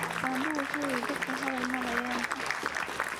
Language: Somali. Aabe wuxu yiri dadka hadhal madhayan.